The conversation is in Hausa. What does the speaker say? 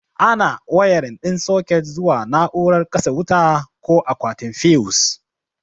Ana wayarin ɗin soket zuwa na'urar katse wuta ko akwatin fiyus.